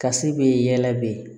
Kasi bɛ yɛlɛ